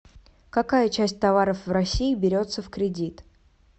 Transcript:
какая часть товаров в россии берется в кредит